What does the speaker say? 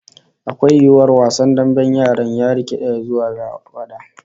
Akwai yiwuwar wasan damben yara ya rika rikidewa zuwa fada?